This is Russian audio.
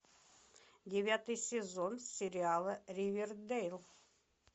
девятый сезон сериала ривердейл